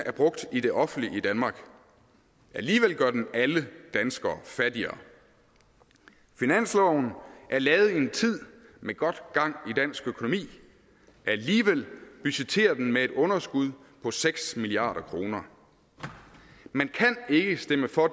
er brugt i det offentlige i danmark alligevel gør den alle danskere fattigere finansloven er lavet i en tid med god gang i dansk økonomi alligevel budgetterer den med et underskud på seks milliard kroner man kan ikke stemme for